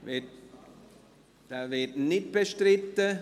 Dieser wird nicht bestritten.